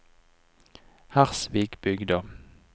Hersvikbygda